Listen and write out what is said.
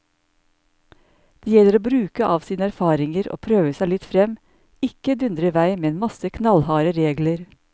Det gjelder å bruke av sine erfaringer og prøve seg litt frem, ikke dundre i vei med en masse knallharde regler.